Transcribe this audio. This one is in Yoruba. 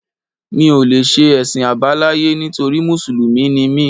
Mi ò lè ṣe Ẹ̀sìn àbáláyé nítorí Mùsùlùmí ni mí